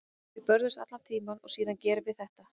Við börðumst allan tímann og síðan gerum við þetta.